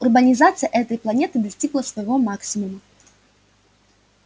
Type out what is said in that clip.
урбанизация этой планеты достигла своего максимума